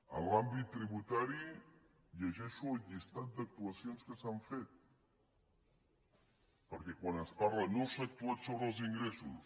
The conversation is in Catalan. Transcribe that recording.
en l’àmbit tributari llegeixo la llista d’actuacions que s’han fet perquè quan es parla no s’ha actuat sobre els ingressos